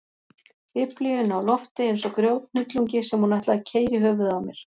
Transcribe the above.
Biblíunni á lofti eins og grjóthnullungi sem hún ætlaði að keyra í höfuðið á mér.